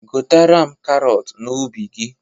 Ghotara m karọt n'ubi gị!